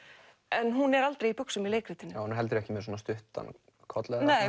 en hún er aldrei í buxum í leikritinu hún er heldur ekki með svona stuttan koll